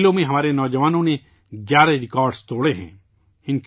ان کھیلوں میں ہمارے نوجوانوں نے گیارہ ریکارڈ توڑ ے ہیں